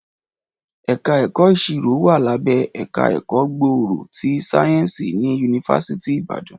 Ẹ̀ka ẹ̀kọ́ ìṣirò wà lábẹ́ ẹ̀ka ẹ̀kọ́ gbòòrò ti sáyẹ́ǹsì ní yunifásítì Ìbàdàn